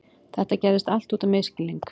Þetta gerðist allt út af misskilningi.